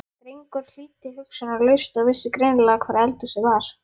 Drengurinn hlýddi hugsunarlaust og vissi greinilega hvar eldhúsið var.